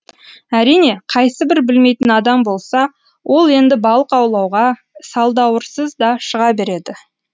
әрине қайсыбір білмейтін адам болса ол енді балық аулауға салдауырсыз да шыға береді